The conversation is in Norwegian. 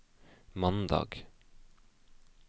mandag